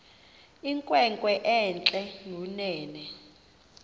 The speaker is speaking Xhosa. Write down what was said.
inkwenkwe entle kunene